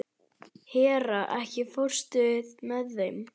Hera, ekki fórstu með þeim?